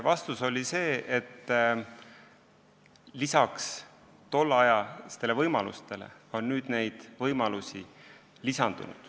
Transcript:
Vastus on, et tolle aja võimalustega võrreldes on nüüd võimalusi lisandunud.